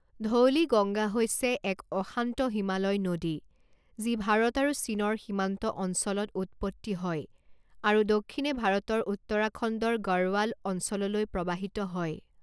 ধৌলিগংগা হৈছে এক অশান্ত হিমালয় নদী যি ভাৰত আৰু চীনৰ সীমান্ত অঞ্চলত উৎপত্তি হয় আৰু দক্ষিণে ভাৰতৰ উত্তৰাখণ্ডৰ গড়ৱাল অঞ্চললৈ প্ৰৱাহিত হয়।